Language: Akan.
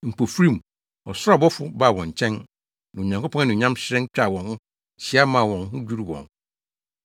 Mpofirim, ɔsoro ɔbɔfo baa wɔn nkyɛn, na Onyankopɔn anuonyam hyerɛn twaa wɔn ho hyia maa wɔn ho dwiriw wɔn.